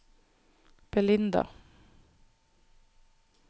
Belinda